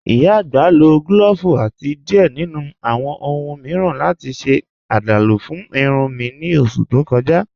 Ìyá agbá ló clọ́ọ́vu àti diẹ̀ nínu awọn ọ̀hun miiran láti ṣe àdálú fún ìrùn mi ní oṣù tó kọ̀ja.